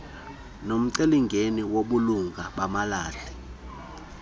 nomcelimngeni wobulunga bamalahle